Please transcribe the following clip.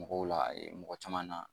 Mɔgɔw la mɔgɔ caman na